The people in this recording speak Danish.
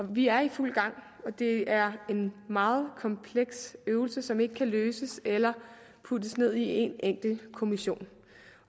vi er i fuld gang og det er en meget kompleks øvelse som ikke kan løses af eller puttes ned i en enkelt kommission